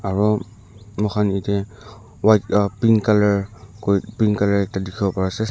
aro mukhan yete white uh pink colour koi pink colour ekta dikhiwo pari asey--